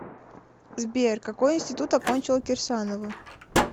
сбер какой интситут окончила кирсанова